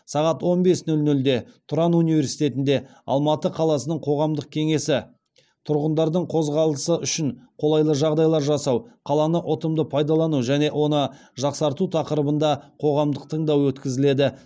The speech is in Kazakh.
сағат он бес нөл нөлде тұран университетінде алматы қаласының қоғамдық кеңесі тұрғындардың қозғалысы үшін қолайлы жағдайлар жасау қаланы ұтымды пайдалану және оны жақсарту тақырыбында қоғамдық тыңдау өткізіледі